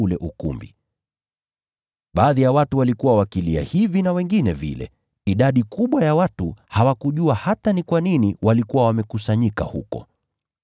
Ule umati ulikuwa na taharuki. Wengine walikuwa wakipiga kelele, hawa wakisema hili na wengine lile. Idadi kubwa ya watu hawakujua hata ni kwa nini walikuwa wamekusanyika huko.